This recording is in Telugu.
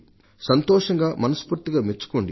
సంతోషంగా మనస్ఫూర్తిగా మెచ్చుకోండి అని